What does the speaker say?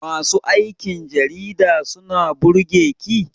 Masu aikin jarida suna burge ki?